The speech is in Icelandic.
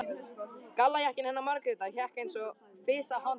Gallajakkinn hennar Margrétar hékk eins og fis á handleggnum.